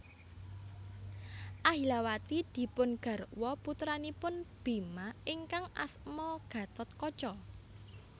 Ahilawati dipun garwa putranipun Bima ingkang asma Gathotkaca